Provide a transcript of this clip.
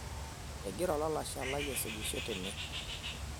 egira olalashe lai aisujisho tene